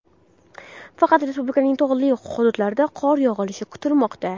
Faqat respublikaning tog‘li hududlarida qor yog‘ishi kutilmoqda.